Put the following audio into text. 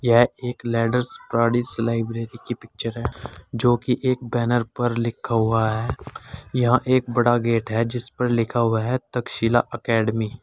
यह एक ladders paradise library की पिक्चर है जो कि एक बैनर पर लिखा हुआ है यहां एक बड़ा गेट है जिस पर लिखा हुआ है तक्षशिला एकेडमी ।